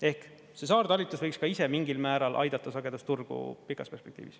Ehk see saartalitlus võiks ka ise mingil määral aidata sagedusturgu pikas perspektiivis.